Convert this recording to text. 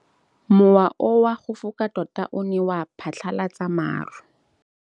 Mowa o wa go foka tota o ne wa phatlalatsa maru.